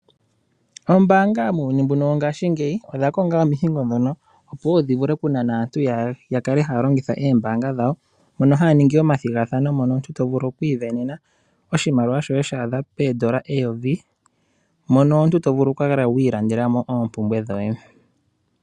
Ombaanga muuyuni mbuno wongaashingeyi odha konga omihingo ndhono opo wo dhi vule okunana aantu ya kale haya longitha ombaanga dhawo, mono haa ningi omathigathano mono omuntu to vulu okwi ivenena oshimaliwa shoye sha adha poodolla eyovi mono omuntu to vulu oku kala wi ilandela mo oompumbwe dhoye.